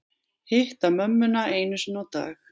Hitta mömmuna einu sinni á dag